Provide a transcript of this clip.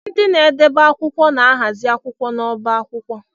Ndị na-edebe akwụkwọ na-ahazi akwụkwọ n'ọbá akwụkwọ